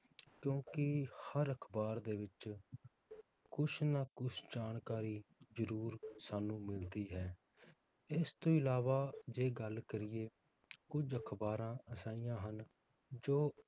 ਕਿਉਂਕਿ ਹਰ ਅਖਬਾਰ ਦੇ ਵਿਚ ਕੁਸ਼ ਨਾ ਕੁਸ਼ ਜਾਣਕਾਰੀ ਜਰੂਰ ਸਾਨੂੰ ਮਿਲਦੀ ਹੈ ਇਸ ਤੋਂ ਅਲਾਵਾ ਜੇ ਗੱਲ ਕਰੀਏ ਕੁਝ ਅਖਬਾਰਾਂ ਅਜਿਹੀਆਂ ਹਨ ਜੋ